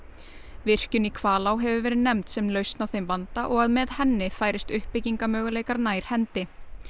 virkjun í Hvalá hefur verið nefnd sem lausn á þeim vanda og að með henni færist nær hendi